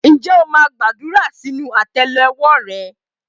Ǹjẹ́ o máa ń gbàdúrà sínú àtẹ́lẹwọ́ rẹ?